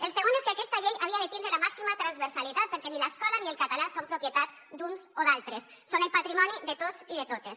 el segon és que aquesta llei havia de tindre la màxima transversalitat perquè ni l’escola ni el català són propietat d’uns o d’altres són el patrimoni de tots i de totes